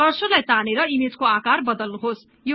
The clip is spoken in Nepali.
कर्सरलाई तानेर ईमेजको आकार बदल्नुहोस्